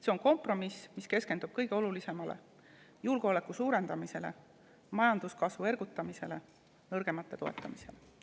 See on kompromiss, mis keskendub kõige olulisemale: julgeoleku suurendamisele, majanduskasvu ergutamisele, nõrgemate toetamisele.